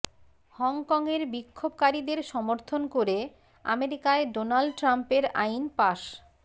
হংকংয়ের বিক্ষোভকারীদের সমর্থন করে আমেরিকায় ডোনাল্ড ট্রাম্পের আইন পাশ